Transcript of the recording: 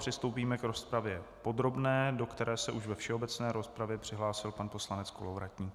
Přistoupíme k rozpravě podrobné, do které se už ve všeobecné rozpravě přihlásil pan poslanec Kolovratník.